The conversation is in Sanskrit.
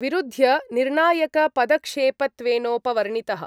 विरूध्य निर्णायकपदक्षेपत्वेनोपवर्णितः।